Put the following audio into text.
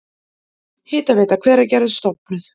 Hitaveita Hveragerðis stofnuð.